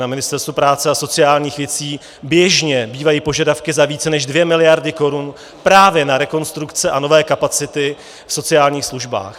Na Ministerstvo práce a sociálních věcí běžně bývají požadavky za více než 2 miliardy korun právě na rekonstrukce a nové kapacity v sociálních službách.